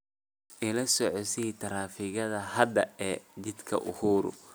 Ila socodsii taraafikada hadda ee jidka uhuru